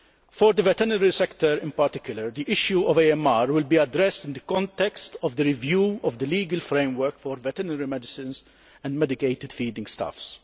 For the veterinary sector in particular the issue of AMR will be addressed in the context of the review of the legal framework for veterinary medicines and medicated feeding stuffs.